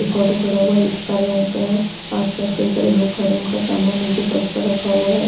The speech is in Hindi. एक ऑटो खड़ा हुआ है जो काले रंग का है आसपास कई सारे लोग खड़े है जिनका सामान निचे पर्श पर रखा हुआ है।